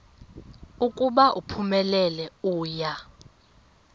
ukuba uphumelele uya